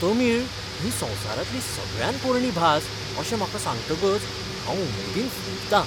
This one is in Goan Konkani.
तमीळ ही संवसारांतली सगळ्यांत पोरणी भास अशें म्हाका सांगतकच हांंव उमेदीन फुलतां.